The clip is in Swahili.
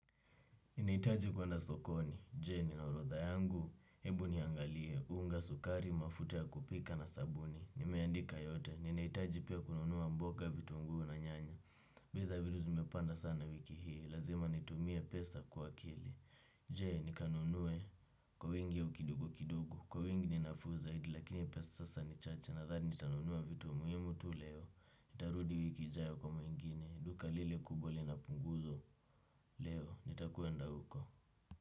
Ninahitaji kwenda sokoni, je nina orodha yangu, hebu niangalie, unga sukari, mafuta ya kupika na sabuni, nimeandika yote, ninahitaji pia kununua mboga vitunguu na nyanya, bei za vitu zimepanda sana wiki hii, lazima nitumie pesa kuwa akili, je nikanunue kwa wingi au kidogo kidogo? Kwa wingi ni nafuu zaidi lakini sasa ni chache nadhani nitanunua vitu muhimu tu leo, nitarudi wiki ijayo kwa mengine, duka lile kubwa leo na punguzo leo, nitakwenda huko.